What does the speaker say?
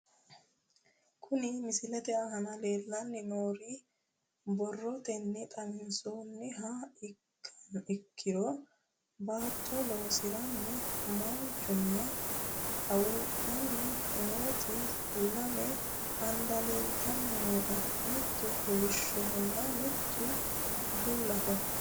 Kuni misilete aana leelanni nooere borotenni xawisumoha ikkiro baato loosaranno manchinna haawudhanni nooti lame handa leltanni nooe miru koolishohona mittu bullaho